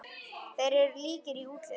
Þeir eru líkir í útliti.